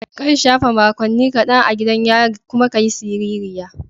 Kan shafe makonni kadan a gidan yari kuma ka yi siririya.